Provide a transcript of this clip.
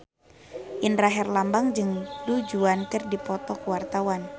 Indra Herlambang jeung Du Juan keur dipoto ku wartawan